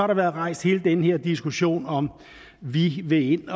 der været rejst hele den her diskussion af om vi vil ind